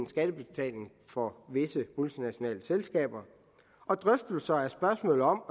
skattebetaling for visse multinationale selskaber drøftelse af spørgsmålet om